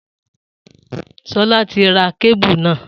Solá ti ra kébù náà